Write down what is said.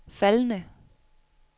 faldende